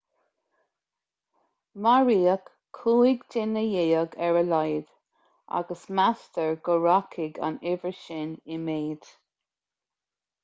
maraíodh 15 duine ar a laghad agus meastar go rachaidh an uimhir sin i méid